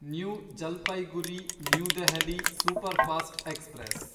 new Jalpaiguri New Delhi superfast express